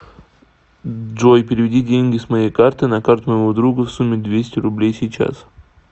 джой переведи деньги с моей карты на карту моего друга в сумме двести рублей сейчас